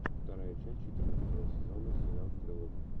вторая часть четырнадцатого сезона сериал стрелок